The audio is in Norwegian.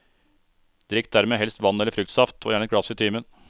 Drikk dermed helst vann eller fruktsaft, og gjerne ett glass i timen.